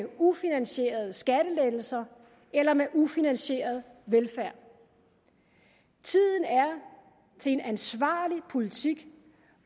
ufinansierede skattelettelser eller med ufinansieret velfærd tiden er til en ansvarlig politik